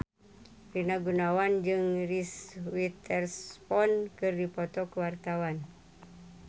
Rina Gunawan jeung Reese Witherspoon keur dipoto ku wartawan